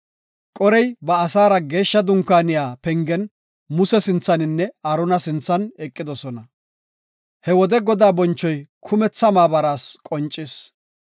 Qorey ba asaara geeshsha dunkaaniya pengen Muse sinthaninne Aarona sinthan eqidosona. He wode Godaa bonchoy kumetha maabaraas qoncis.